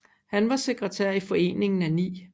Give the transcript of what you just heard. Han var sekretær i Foreningen af 9